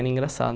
era engraçado.